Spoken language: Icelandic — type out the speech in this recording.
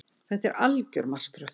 Þetta er algjör martröð